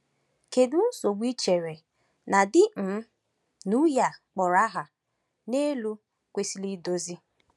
Kedu nsogbu i chere na di um na nwunye a kpọrọ aha n’elu kwesịrị idozi?